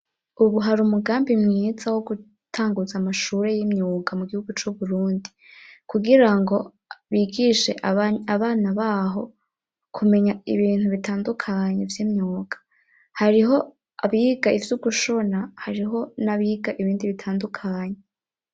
Ubu hari umugambi mwiza, wo gutanguza amashure y'imyuga mu gihugu c'Uburundi, kugira ngo bigishe abana b'aho kumenya ibintu bitandukanye vy'imyuga; hariho abiga ivy'ugushona hariho n'abiga ibindi bitandukanye.